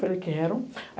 Falei, quero.